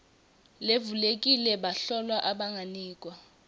levulekile bahlolwa abanganikwa